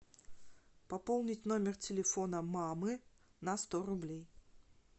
пополнить номер телефона мамы на сто рублей